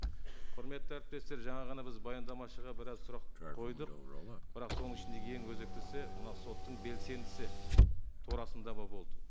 құрметті әріптестер жаңа ғана біз баяндамашыға біраз сұрақ қойдық бірақ соның ішінде ең өзектісі мынау соттың белсендісі болды